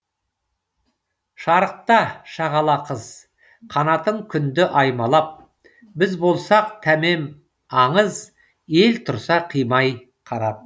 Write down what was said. шарықта шағала қыз қанатың күнді аймалап біз болсақ тәмәм аңыз ел тұрса қимай қарап